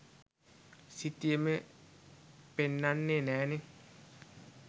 සිතියමේ පෙන්නන්නේ නෑනේ